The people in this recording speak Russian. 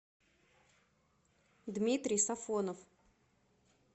дмитрий сафонов